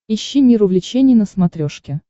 ищи мир увлечений на смотрешке